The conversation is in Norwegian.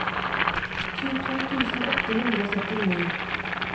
tjueto tusen åtte hundre og syttini